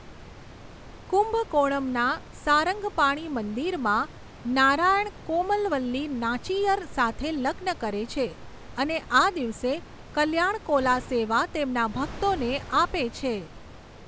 કુંભકોણમના સારંગપાણિ મંદિરમાં નારાયણ કોમલવલ્લી નાચિયર સાથે લગ્ન કરે છે અને આ દિવસે કલ્યાણ કોલા સેવા તેમના ભક્તોને આપે છે.